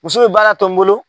Muso bɛ baara to n bolo.